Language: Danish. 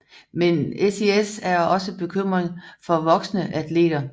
Men SIS er også bekymring for voksne atleter